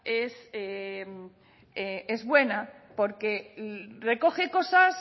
es buena porque recoge cosas